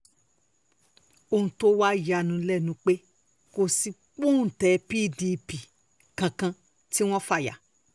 ohun tó wàá yà ní lẹ́nu ni pé kò sí pọ́ńté pdp kankan tí wọ́n fà ya